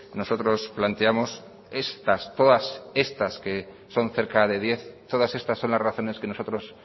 nosotros planteamos estas todas estas que son cerca de diez todas estas son las razones que nosotros